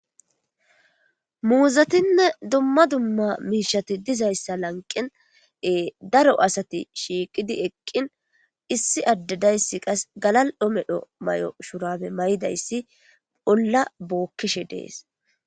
Muzetine duma duma misheti dizayisa laniqen daro asati shiqidi eqin issi ade deyis qa gala'o medho shurabe maidayis ola bokishe dees